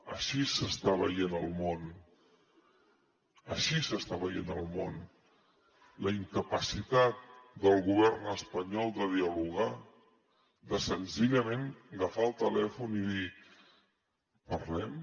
així s’està veient al món així s’està veient al món la incapacitat del govern espanyol de dialogar de senzillament agafar el telèfon i dir parlem